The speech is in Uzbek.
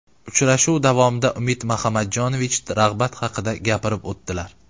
Uchrashuv davomida Umid Mahamadjonovich rag‘bat haqida gapirib o‘tdilar.